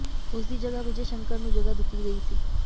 ਉਸ ਦੀ ਜਗ੍ਹਾ ਵਿਜੇ ਸ਼ੰਕਰ ਨੂੰ ਜਗ੍ਹਾ ਦਿੱਤੀ ਗਈ ਸੀ